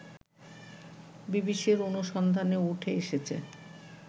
বিবিসির অনুসন্ধানে উঠে এসেছে